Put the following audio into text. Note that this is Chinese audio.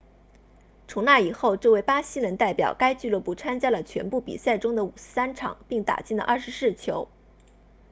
从那以后这位巴西人代表该俱乐部参加了全部比赛中的53场并打进了24球